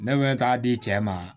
Ne bɛ taa di cɛ ma